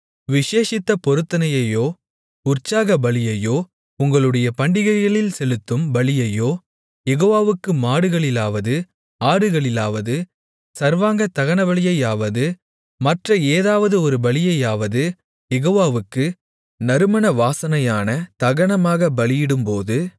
விசேஷித்த பொருத்தனையையோ உற்சாக பலியையோ உங்களுடைய பண்டிகைகளில் செலுத்தும் பலியையோ யெகோவாவுக்கு மாடுகளிலாவது ஆடுகளிலாவது சர்வாங்கதகனபலியையாவது மற்ற ஏதாவது ஒரு பலியையாவது யெகோவாவுக்கு நறுமண வாசனையான தகனமாகப் பலியிடும்போது